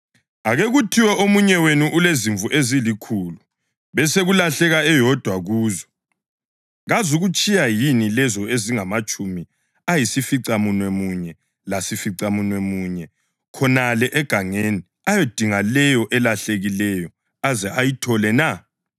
“Ake kuthiwe omunye wenu ulezimvu ezilikhulu besekulahleka eyodwa kuzo. Kazukuzitshiya yini lezo ezingamatshumi ayisificamunwemunye lasificamunwemunye khonale egangeni ayidinge leyo elahlekileyo aze ayithole na?